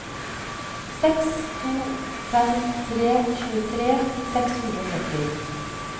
seks to fem tre tjuetre seks hundre og sytti